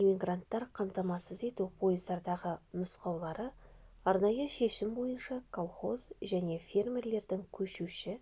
иммигранттар қамтамасыз ету пойыздардағы нұсқаулары арнайы шешім бойынша колхоз және фермерлердің көшуші